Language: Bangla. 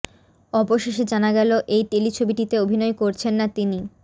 অবশেষে জানা গেল এই টেলিছবিটিতে অভিনয় করছেন না তিনি